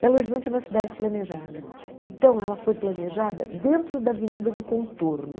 Belo Horizonte é uma cidade planejada, então ela foi planejada dentro da Avenida do Contorno.